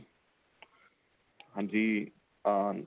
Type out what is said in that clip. ਹਾਂਜੀ ਅਹ